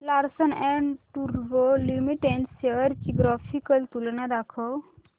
Larsen and टुर्बो Limited shares ची graphical तुलना दाखव